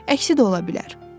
Əksi də ola bilər.